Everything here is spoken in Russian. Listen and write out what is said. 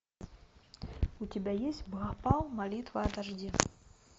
у тебя есть бхопал молитва о дожде